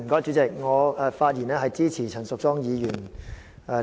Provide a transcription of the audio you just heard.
主席，我發言支持陳淑莊議員的議案。